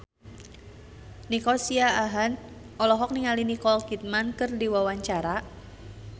Nico Siahaan olohok ningali Nicole Kidman keur diwawancara